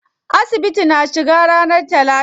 Asibitin na cika ranar talata.